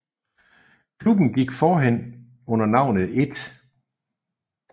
Klubben gik forhen under navnet 1